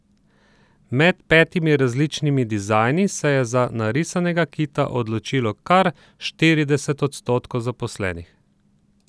Med petimi različnimi dizajni se je za narisanega kita odločilo kar štirideset odstotkov zaposlenih.